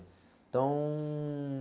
Então...